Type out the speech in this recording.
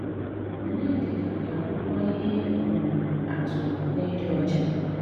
Ọnyédíkà gà-àbụ́kwà íhé um àtụ́ n’ídí́ ọ́chá